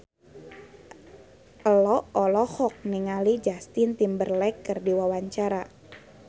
Ello olohok ningali Justin Timberlake keur diwawancara